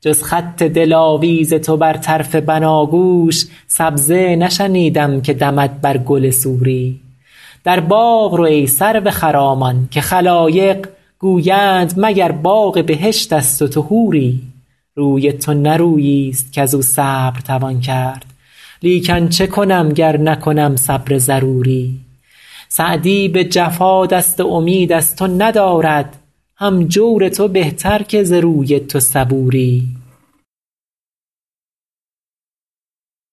جز خط دلاویز تو بر طرف بناگوش سبزه نشنیدم که دمد بر گل سوری در باغ رو ای سرو خرامان که خلایق گویند مگر باغ بهشت است و تو حوری روی تو نه روییست کز او صبر توان کرد لیکن چه کنم گر نکنم صبر ضروری سعدی به جفا دست امید از تو ندارد هم جور تو بهتر که ز روی تو صبوری